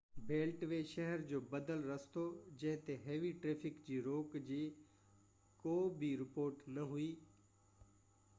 belt V شهر جو بدل رستو جنهن تي هيوي ٽرئفڪ جي روڪ جي ڪو بہ رپورٽ نہ هئي